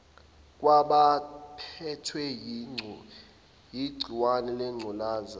kwabaphethwe yigciwane lengculazi